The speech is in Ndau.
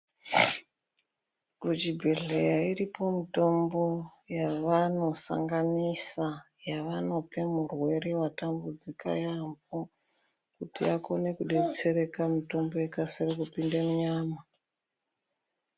Kuzvibhedhlera iripo mitombo yawanosanganisa yawanope murwere vatambudzika yaambo kuti akone kubetsereka mitombo ikasire kupinda munyama.